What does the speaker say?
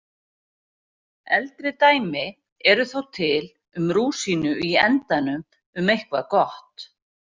Eldri dæmi eru þó til um rúsínu í endanum um eitthvað gott.